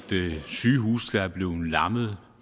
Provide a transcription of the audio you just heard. sygehuse der er blevet lammet